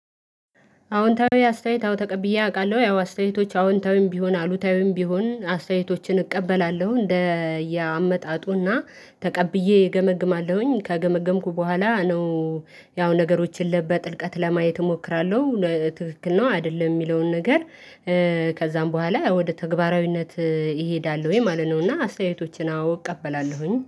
አዎንታዊ አስተያየት አው ተቀብዬ አውቃለሁ ያው አስተያየቶች አዎንታዊም ቢሆን አሉታዊም ቢሆን አስተያየቶችን እቀበላለሁ እንደያመጣጡና ተቀብዬ እገመግማለሁኝ ከገመገምኩ በኋላ ነው። ያው ነገሮችን ለበጥልቀት ለማየት እሞክራለሁ ነትክክል ነው አይደለም የሚለውን ነገር። ከዛም በኋላ ወደ ተግባራዊነት እሄዳለሁኝ ማለት ነው። እና አስተያየቶችን አዎ እቀበላለሁኝ